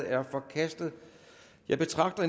er forkastet jeg betragter